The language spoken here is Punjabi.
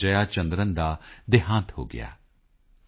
ਜਯਾ ਚੰਦਰਨ ਦਾ ਦੇਹਾਂਤ ਹੋ ਗਿਆ ਡਾ